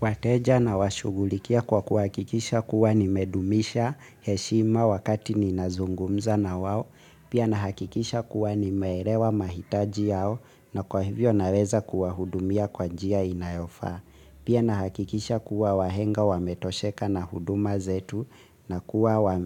Wateja na washughulikia kwa kuahakikisha kuwa nimedumisha heshima wakati ninazungumza na wao, pia nahakikisha kuwa nime elewa mahitaji yao na kwa hivyo naweza kuwahudumia kwa njia inayofaa, pia nahakikisha kuwa wahenga wametosheka na huduma zetu na kuwa